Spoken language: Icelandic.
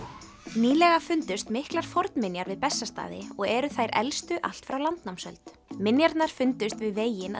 nýlega fundust miklar fornminjar við Bessastaði og eru þær elstu allt frá landnámsöld minjarnar fundust við veginn